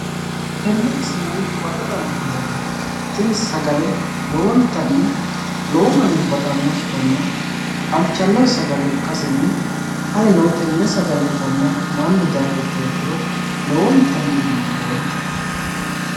Tenne misileni huwata dandiineemmohu tini sagale lowontanni lowo manni baxannosetanna halchannose sagale ikkasenni anino enne sagale itanna mannu dayii ikkiro lowontanni giwisireemmo.